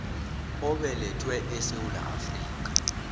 obelethelwe esewula afrika